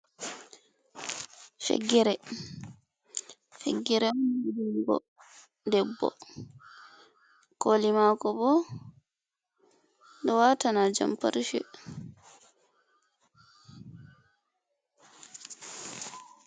Ciggere. ciggere on ha juggo ɗebbo. Koli mako bo ɗo watana jamparce.